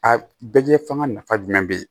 A bɛɛ fanga nafa jumɛn be yen